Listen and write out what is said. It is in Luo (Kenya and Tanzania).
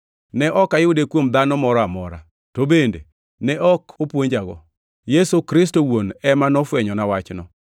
Ne ok ayude kuom dhano moro amora, to bende ne ok opuonjago. Yesu Kristo owuon ema nofwenyona wachno.